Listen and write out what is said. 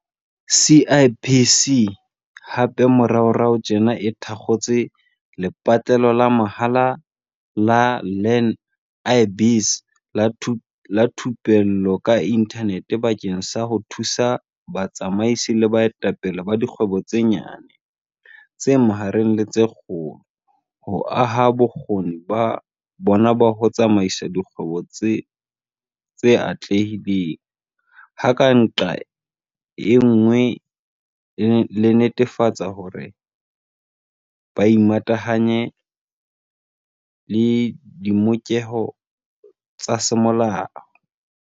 CIPC hape moraorao tjena e thakgotse lepatlelo la mahala la Learn-i-Biz la thupello ka inthanete bakeng sa ho thusa batsamaisi le baetapele ba dikgwebo tse nyane, tse mahareng le tse kgolo ho aha bokgoni ba bona ba ho tsamaisa dikgwebo tse atlehileng, ha ka nqa e nngwe ba netefatsa hore ba imatahanya le ditlhokeho tsa semolao.